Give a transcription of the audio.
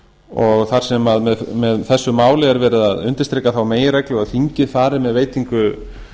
og þar sem með þessu máli er verið að undirstrika þá meginreglu að þingið fari með veitingu